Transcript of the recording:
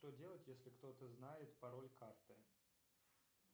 что делать если кто то знает пароль карты